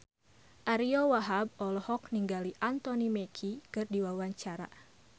Ariyo Wahab olohok ningali Anthony Mackie keur diwawancara